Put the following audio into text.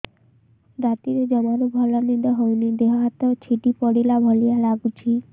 ରାତିରେ ଜମାରୁ ଭଲ ନିଦ ହଉନି ଦେହ ହାତ ଛିଡି ପଡିଲା ଭଳିଆ ଲାଗୁଚି